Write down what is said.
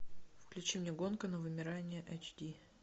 включи мне гонка на вымирание эйч ди